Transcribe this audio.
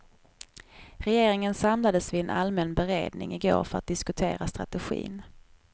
Regeringen samlades vid en allmän beredning i går för att diskutera strategin.